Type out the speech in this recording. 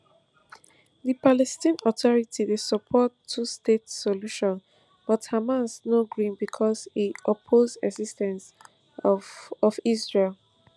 di palestinian authority dey support twostate solution but hamas no gree becos e oppose exis ten ce of of israel